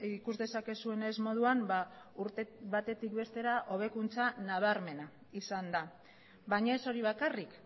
ikus dezakezuenez moduan urte batetik bestera hobekuntza nabarmena izan da baina ez hori bakarrik